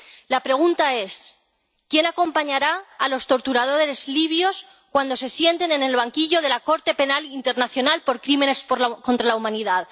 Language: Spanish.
La pregunta es ¿Quién acompañará a los torturadores libios cuando se sienten en el banquillo de la Corte Penal Internacional por crímenes por la contra la humanidad?